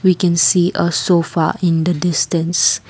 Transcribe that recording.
we can see a sofa in the distance.